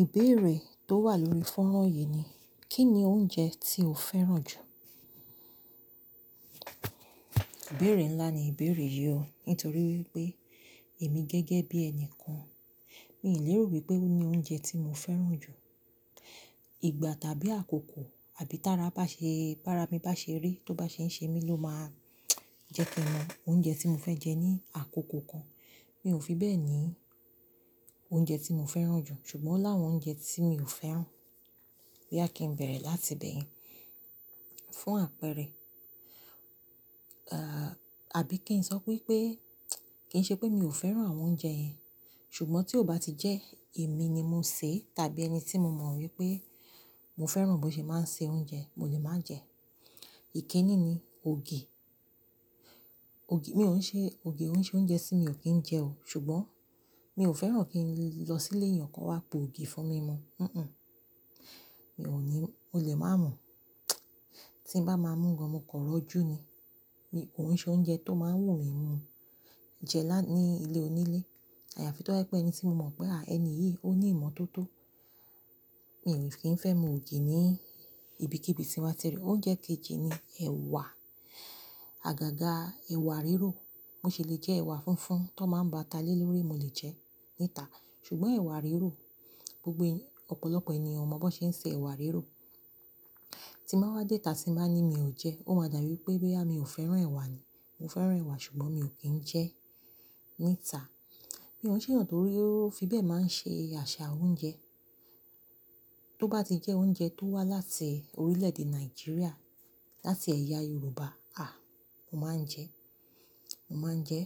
Ìbéèrè tó wà lórí fónrán yìí ni, kí ni oúnjẹ tí o fẹ́ràn jù? Ìbéèrè ńlá ni ìbéèrè yìí o, nítorí pé èmi gẹ́gẹ́ bí ẹni kan, mi ò léèro wípé ó ni oúnjẹ tí mo fẹ́ràn jù. Ìgbà tàbí àkókò àbí tára bá ṣe, bá ra mi bá ṣe rí, tó bá ṣe ń ṣe mí ló máa jẹ kin nu. Oúnjẹ tí mo fẹ́ jẹ ní àkókò kan, mi ò fi bẹ́ẹ̀ ní oúnjẹ tí mo fẹ́ràn jù. Ṣùgbọ́n láwọn oúnjẹ tí mi ò fẹ́ràn, bí à kí n bẹ̀rẹ̀ láti ibẹ̀ yen. Fún àpẹẹrẹ, ah, àbí kí n sọ pé pé, kí n ṣe pé mi ò fẹ́ràn àwọn oúnjẹ yẹn. Ṣùgbọ́n tí ó bá ti jẹ́ èmi ni mo sè tàbí ẹni tí mo mọ̀ wípé mo fẹ́ràn bó ṣe máa ń se oúnjẹ, mo lè máa jẹ. Èkiní ni ògì. Ògì, mi ò ún ṣe, ògì òún ṣe oúnjẹ tí mi ò kí ń jẹ o. Ṣùgbọ́n mi ò fẹ́ràn kí n lọ sí ilé ẹnìkan wá po ògì fún mi mọ, hinhin. Mi ò ní, mo lè máa mọ̀. Tí n bá máa mú gan, mo kọ̀ ọ́ rọ́jú ni. Mi ò ún ṣe oúnjẹ tó máa ń wù mí mu jẹ lá, ní ilé onílé. Àyàfi tó jẹ́ pé ẹni tí mo mọ̀ pé, à ẹni yìí ó ní ìmọ̀ tó tó. Mi ò fi ń fẹ́ mu ògì ní ibi kí ibi tí wá tí rí i. Oúnjẹ kejì ni ẹ̀wà. Àgàgà ẹ̀wà rírò, bó ṣe lè jẹ́ ẹ̀wà fúnfún tó máa ń ba ata lé lórí, mo lè jẹ níta. Ṣùgbọ́n ẹ̀wà rírò, gbogbo ọ̀pọ̀lọpọ̀ ènìyàn mọ̀ bó ṣe ń ṣe ẹ̀wà rírò. Tí máa wá déta tí n bá ní mi ò jẹ́, ó máa dàrú wípé bí à mi ò fẹ́ràn ẹ̀wà ni. Mo fẹ́ràn ẹ̀wà ṣùgbọ́n mi ò kí ń jẹ níta. Mi ò ṣe náà torí pé ó fi bẹ́ẹ̀ máa ń ṣe àṣà oúnjẹ. Tó bá ti jẹ́ oúnjẹ tó wá láti orílẹ̀ èdè Nàìjíríà, láti ẹ̀yà Yorùbá, ah, mo máa ń jẹ. Mo máa ń jẹ.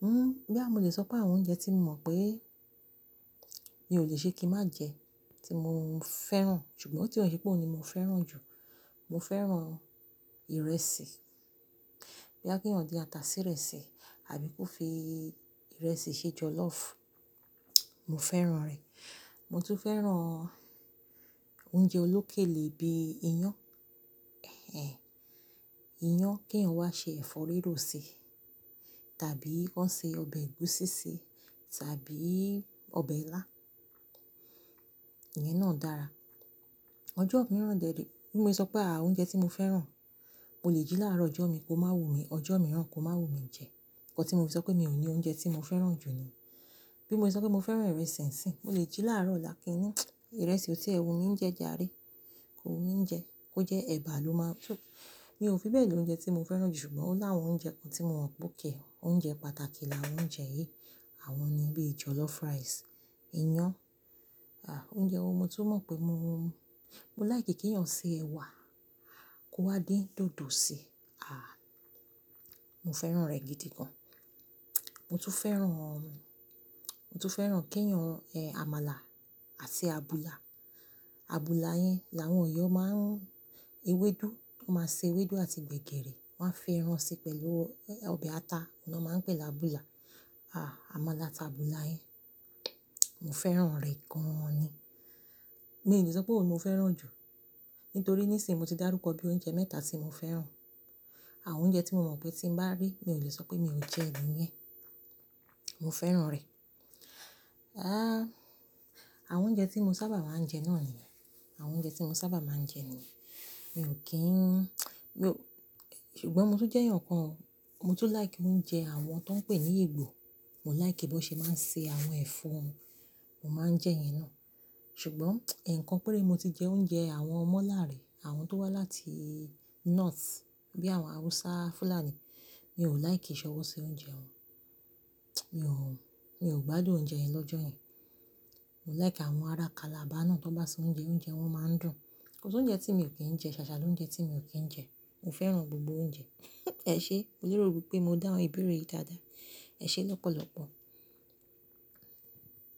Hmm, bí à mo lè sọ pé àwọn oúnjẹ tí mo mọ̀ pé mi ò lè ṣe kí n má jẹ, tí mo ń fẹ́ràn, ṣùgbọ́n tí ó ṣe pé ó ni mo fẹ́ràn jù. Mo fẹ́ràn ìrẹsì. Bí à kí wọ́n yàn dé ata sí ìrẹsì, àbí kó fi ìrẹsì ṣe jọlọ́ọ̀fù, mo fẹ́ràn rẹ̀. Mo tún fẹ́ràn oúnjẹ olókè lè bí iyán. Iyán kí wọ́n wá ṣe ẹ̀fọ́ rírò sí, tàbí wọ́n ṣe ọbẹ̀ ẹ̀gúsí sí, tàbí ọbẹ̀ ilá. Ìyẹn náà dára. Ọjọ́ mìíràn dè, bí mo ṣe sọ pé à oúnjẹ tí mo fẹ́ràn, mo lè jí láàárọ̀ ọjọ́ mi kó má wù mí, ọjọ́ mìíràn kó má wù mí jẹ. Nígbà tí mo ṣe sọ pé mi ò ní oúnjẹ tí mo fẹ́ràn jù ni. Bí mo ṣe sọ pé mo fẹ́ràn ìrẹsì ńsìn, mo lè jí láàárọ̀ ọ̀la kíni. Ìrẹsì tí ẹwu mi ń jẹ jàáre, kò wù mí jẹ, kó jẹ́ ẹ̀bà ló máa tú. Mi ò fi bẹ́ẹ̀ lò oúnjẹ tí mo fẹ́ràn jù, ṣùgbọ́n láwọn oúnjẹ kan tí mo mọ̀ pé kìí, oúnjẹ pàtàkì làwọn oúnjẹ yìí. Àwọn ni bíi jọlọ́ọ̀fù rice, iyán. Ah, oúnjẹ wo mo tún mọ̀ pé mo, mo láì kí kí èèyàn ṣe ẹ̀wà kó wá dín dòdò sí. Ah, mo fẹ́ràn rẹ̀ gidi gan. Mo tún fẹ́ràn, mo tún fẹ́ràn kí èèyàn jẹ́ àmàlà àti àbùlà. Àbùlà yẹn làwọn ọ̀yọ́ máa ń, ewédú, tó máa ṣe ewédú àti gbẹ̀giri, wọ́n á fi ẹran ṣe pẹ̀lú ọbẹ̀ ata. Ọ̀nà náà máa ń pè láàbùlà. Ah, àmàlà àti àbùlà yẹn, mo fẹ́ràn rẹ̀ gan ni. Mi ò lè sọ pé òun ni mo fẹ́ràn jù. Nítorí níìsín mo ti dárúkọ bí i oúnjẹ mẹ́ta tí mo fẹ́ràn. Àwọn oúnjẹ tí mo mọ̀ pé tí n bá rí, mi ò lè sọ pé mi ò jẹ ni yẹn. Mo fẹ́ràn rẹ̀. Ah, àwọn oúnjẹ tí mo sábà máa ń jẹ náà ni. Àwọn oúnjẹ tí mo sábà máa ń jẹ ni. Mi ò kí ń yóò, ṣùgbọ́n mo tún jẹ́ èèyàn kan, mo tún láì kí mo ń jẹ àwọn tó ń pè ní egbò. Mo láì kí bó ṣe máa ń ṣe àwọn ẹ̀fọ́, mo máa ń jẹ yẹn náà. Ṣùgbọ́n ẹ̀ẹ̀kan péré mo ti jẹ oúnjẹ àwọn ọmọ làárẹ, àwọn tó wá láti North, bí àwọn Hausa, Fulani, mi ò láì kí ìṣọwọ́ ṣe oúnjẹ wọn. Mi ò, mi ò gbádùn oúnjẹ yẹn lọ́jọ́ yẹn. Mo láì kí àwọn ará Calabar náà tó bá ṣe oúnjẹ, oúnjẹ wọn máa ń dùn. Ko si oúnjẹ tí mi ò kí ń jẹ, ṣàṣà ló ń jẹ tí mi ò kí ń jẹ. Mo fẹ́ràn gbogbo oúnjẹ. Ẹ̀ṣe, mo lérò wípé mo dá àwọn ìbéèrè yìí dáadáa. Ẹ̀ṣe lọ́pọ̀lọ́pọ̀.